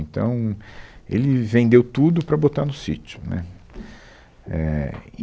Então, ele vendeu tudo para botar no sítio. Né, éh